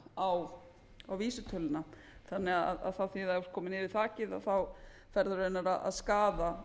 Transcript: þak á vísitöluna þannig að þá þýðir það að ef þú ert kominn yfir þakið eru raunar að skaða